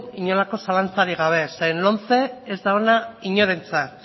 inongo zalantzarik gabe zeren eta lomce ez da ona inorentzat